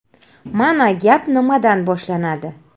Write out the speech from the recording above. Mana gap nimadan boshlanadi.